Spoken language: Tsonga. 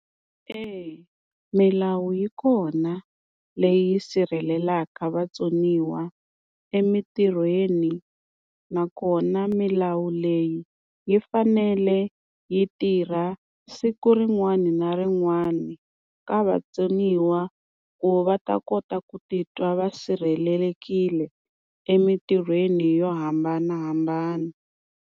Eya milawu yi kona leyi yi sirhelelaka vatsoniwa emintirhweni nakona milawu leyi yi fanele yi tirha siku rin'wani na rin'wani ka vatsoniwa ku va ta kota ku titwa va sirhelelekile emintirhweni yo hambanahambana.